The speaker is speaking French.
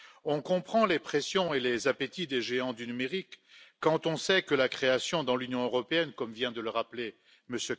On comprend les pressions et les appétits des géants du numérique quand on sait que la création dans l'Union européenne, comme vient de le rappeler M.